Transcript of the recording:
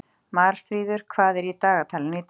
Marfríður, hvað er í dagatalinu í dag?